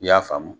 I y'a faamu